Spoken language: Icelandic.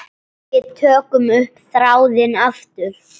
Við tökum upp þráðinn aftur.